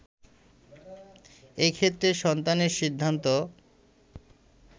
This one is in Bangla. এক্ষেত্রে সন্তানের সিদ্ধান্ত